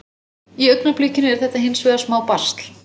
Í augnablikinu er þetta hins vegar smá basl.